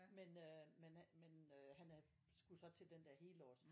men øh men han men øh han er skulle så til den der helårs